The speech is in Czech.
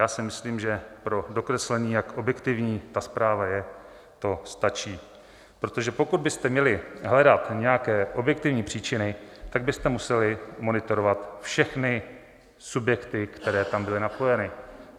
Já si myslím, že pro dokreslení, jak objektivní ta zpráva je, to stačí, protože pokud byste měli hledat nějaké objektivní příčiny, tak byste museli monitorovat všechny subjekty, které tam byly napojeny.